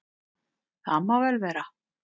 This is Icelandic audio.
Það má vel vera.